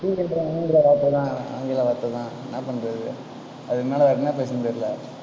TV என்ற ஆங்கில வார்த்தை தான், ஆங்கில வார்த்தை தான் என்ன பண்றது அதுக்கு மேல, வேற என்ன பேசறதுன்னு தெரியலே.